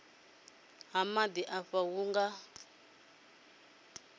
ha maḓi afha hu nga